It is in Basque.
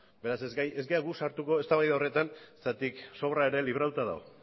beraz ez gara gu sartuko eztabaida horretan zergatik sobra ere libratuta dago